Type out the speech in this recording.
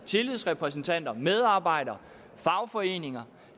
tillidsrepræsentanter medarbejdere og fagforeninger